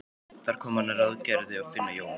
Þar kom að hann ráðgerði að finna Jón